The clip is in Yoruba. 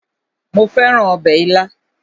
Mo fẹ́ràn ọbẹ̀ ilá